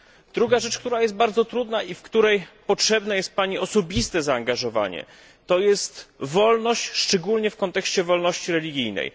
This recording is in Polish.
Druga rzecz, która jest bardzo trudna i w której potrzebne jest Pani osobiste zaangażowanie, to wolność, szczególnie w kontekście wolności religijnej.